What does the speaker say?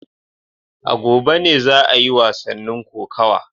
A gobe ne za a yi wasannin kokawa